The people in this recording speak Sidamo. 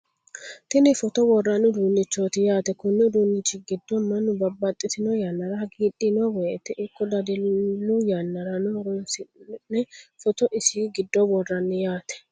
tini footo worranni uduunichooti yaate. konni uduunnichi giddo mannu babbaxitino yannara haagiidhino wote ikko dadillu yannarano horonsi'ne footo isi giddo worranni yaate.